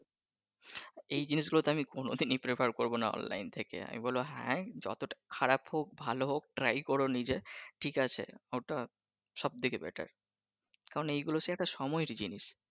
এই জিনিস গুলোতো আমি কোনদিনই prepare করবো নাহ অনলাইন থেকে আমি বলবো হ্যাঁ যতটা খারাপ হোক ভালো হোক try করো নিজে ঠিক আছে ঐটা সব দিকে better, কারন এইগুলো একটা সময়ের জিনিস